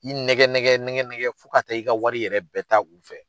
I nɛgɛ nɛgɛ nɛgɛ nɛgɛ fo ka taa i ka wari yɛrɛ bɛɛ taa won fɛ.